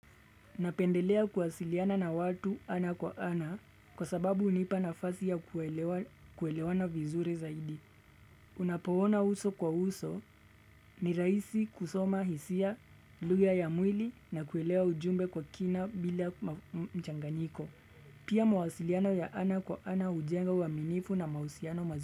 Napendelea kuwasiliana na watu ana kwa ana kwa sababu hunipa nafasi ya kuelewana vizuri zaidi. Unapo ona uso kwa uso ni rahisi kusoma hisia, lugha ya mwili na kuelewa ujumbe kwa kina bila mchanganiko. Pia mawasiliano ya ana kwa ana ujenga uaminifu na mahusiano mazuri.